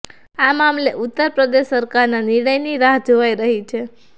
આ મામલે ઉત્તર પ્રદેશ સરકારના નિર્ણયની રાહ જોવાઇ રહી છે